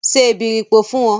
Se èbèripò fún mi!